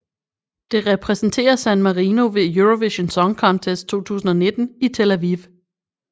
Det repræsenterer San Marino ved Eurovision Song Contest 2019 i Tel Aviv